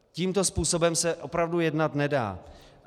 Tímto způsobem se opravdu jednat nedá.